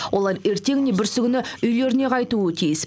олар ертең не бүрсігүні үйлеріне қайтуы тиіс